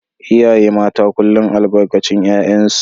iyaye mata kullum albarkacin 'ya'yansu